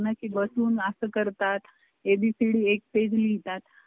आणि point दुकान आहे काय अडचण नाही. market मध्ये दुकान आहे.